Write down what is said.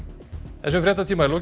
þessum fréttatíma er lokið